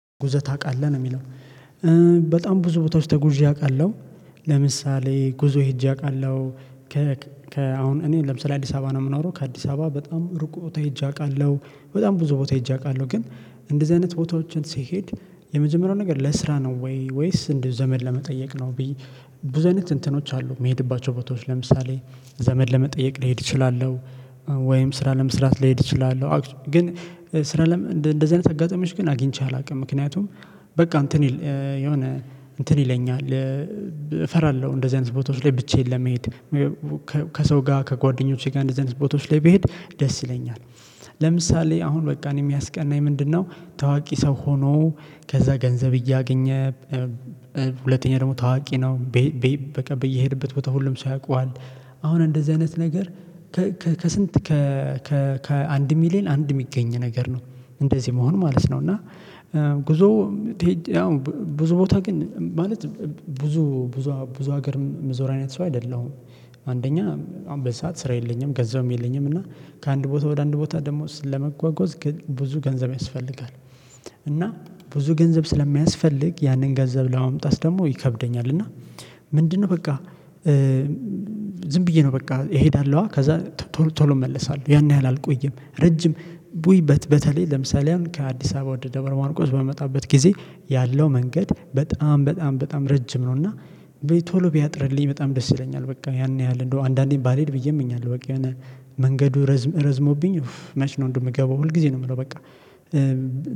ጉዞ ታቃለህ ነው የሚለው? በጣም ብዙ ቦታዎች ተጉዣ አቃለሁ። ለምሳሌ ጉዞ ሄጄ አውቃለሁ ከ ከ አሁን እኔ ለምሳሌ አዲስ አበባ ነው የምኖረው። ከአዲስ አበባ በጣም ርቅ ቦታ ሄጄ አቃለሁ። በጣም ብዙ ቦታ ሄጄ አቃለሁ። ግን እንደዚህ አይነት ቦታዎችን ሲሄድ የመጀመሪያው ነገር ለስራ ነው ወይ ወይስ እንዲህ ዘመድ ለመጠየቅ ነው? ብዬ ብዙ አይነት እንትኖች አሉ ሚሄድባቸው ቦታዎች ለምሳሌ ዘመድ ለመጠየቅ ልሄድ እችላለሁ። ወይም ስራ ለመስራት ልሄድ እችላለሁ። ግን ስራ ለመ እንደዚህ አይነት አጋጣሚዎች ግን አግኝቼ አላውቅም። ምክንያቱም በቃ እንትን የሆነ እንትን ይለኛል እፈራለሁ እንደዚህ አይነት ቦታዎች ላይ ብቻዬን ለመሄድ። ከሰው ጋር ከጓደኞቼ ጋር እንደዚህ አይነት ቦታዎች ላይ ብሄድ ደስ ይለኛል። ለምሳሌ አሁን በቃ እኔ ሚያስቀናኝ ምንድነው? ታዋቂ ሰው ሆኖ ከዛ ገንዘብ እያገኘ ሁለተኛ ደግሞ ታዋቂ ነው በቃ በየሄድበት ቦታ ሁሉም ሰው ያቀዋል። አሁን እንደዚህ አይነት ነገር ከስንት ከአንድ ሚሊየን አንድ የሚገኝ ነገር ነው። እንደዚህ መሆን ማለት ነው። እና ጉዞ ያው ብዙ ቦታ ግን ማለት ብዙ ብዙ ብዙ ሀገር ምዞር አይነት ሰው አይደለሁም። አንደኛ አሁን በዚ ሰዓት ስራ የለኝም ገንዘብም የለኝም። እና ከአንድ ቦታ ወደ አንድ ቦታ ደግሞ ስለመጓጓዝ ግን ብዙ ገንዘብ ያስፈልጋል። እና ብዙ ገንዘብ ስለሚያስፈልግ ያንን ገንዘብ ለማምጣት ደግሞ ይከብደኛል። እና ምንድነው በቃ ዝም ብዬ ነው በቃ እሄዳለሁ። ከዛ ቶሎ እመለሳለሁ ያን ያህል አልቆየም። ረጅም ቡይ በተለይ ለምሳሌ አሁን ከአዲስ አበባ ወደ ደብረ ማርቆስ በምመጣበት ጊዜ ያለው መንገድ በጣም በጣም በጣም ረጅም ነው። እና ቶሎ ቢያጥርልኝ በጣም ደስ ይለኛል። በቃ ያን ያህል እንደው አንዳንዴም ባልሄድ ብዬም እኛለሁ በቃ የሆነ መንገዱ ረዝም ረዝሞብኝ መች ነው እንደምገባው ሁል ጊዜ ነው የምለው በቃ።